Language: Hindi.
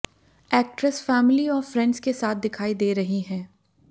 एक्ट्रेस फैमिली और फ्रेंड्स के साथ दिखाई दे रही है